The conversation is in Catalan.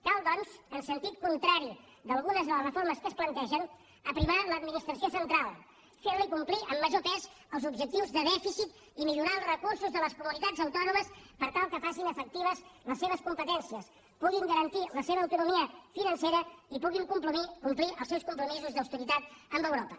cal doncs en sentit contrari d’algunes de les reformes que es plantegen aprimar l’administració central ferli complir amb major pes els objectius de dèficit i millorar els recursos de les comunitats autònomes per tal que facin efectives les seves competències puguin garantir la seva autonomia financera i puguin complir els seus compromisos d’austeritat amb europa